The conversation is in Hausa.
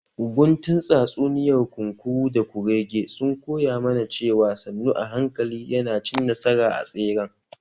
Guntun tsatsuniyar kunkuru da kurege sun koya mana cewa sannu a hankali yana cin nasara a tseren